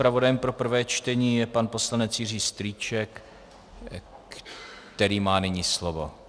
Zpravodajem pro prvé čtení je pan poslanec Jiří Strýček, který má nyní slovo.